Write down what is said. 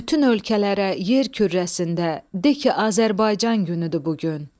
Bütün ölkələrə yer kürrəsində de ki, Azərbaycan günüdür bu gün.